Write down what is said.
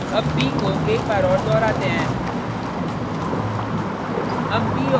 अब p को एक बार और दोहराते हैं: